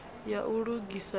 ya u lugisa na u